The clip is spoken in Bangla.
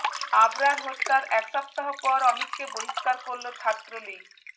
আবরার হত্যার এক সপ্তাহ পর অমিতকে বহিষ্কার করল ছাত্রলীগ